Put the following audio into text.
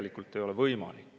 Andres Metsoja, palun!